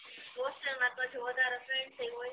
hostel માં તો પાછું વધારે ફ્રેન્ડ્સ એય હોય